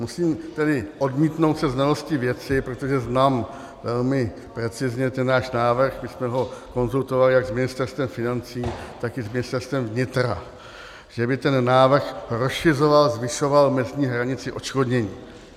Musím tedy odmítnout se znalostí věci, protože znám velmi precizně ten náš návrh, my jsme ho konzultovali jak s Ministerstvem financí, tak i s Ministerstvem vnitra, že by ten návrh rozšiřoval, zvyšoval mezní hranici odškodnění.